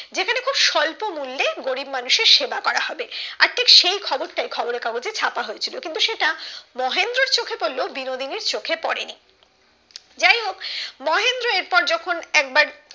সল্প মূল্যে গরিব মানুষের সেবা করা হবে আর সেই খবরটাই খবরের কাগজে ছাপা হয়েছিল কিন্তু সেটা মহেন্দ্রর চোখে পড়লেও বিনোদিনীর চোখে পড়েনি যাইহোক মহেন্দ্র এরপর যখন একবার